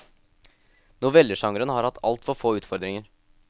Novellesjangeren har hatt altfor få utfordringer.